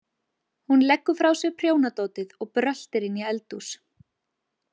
Hún leggur frá sér prjónadótið og bröltir inn í eldhús.